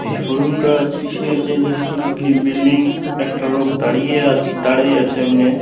এই সুড়ঙ্গটা যে কিসের যে যে সূচকই বিল্ডিং একটা লোক দাঁড়িয়ে আ দাঁড়ায়ে আছে এমনে।